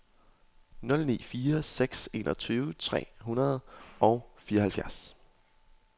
nul ni fire seks enogtyve tre hundrede og fireoghalvfjerds